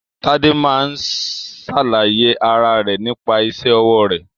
Tade máa ń ṣàlàyé ara rẹ nípa isẹ́ ọwọ́ rẹ̀.